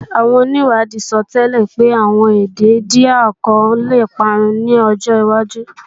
Àwọn onìwádìí sọtẹ́lẹ̀ pé àwọn èdè Índíà kan lè parun ní ọjọwájú